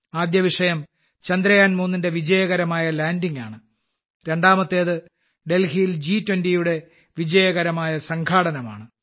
ആദ്യ വിഷയം ചന്ദ്രയാൻ 3 ന്റെ വിജയകരമായ ലാൻഡിങ് ആണ് രണ്ടാമത്തേത് ഡൽഹിയിൽ ജി20 യുടെ വിജയകരമായ സംഘാടനമാണ്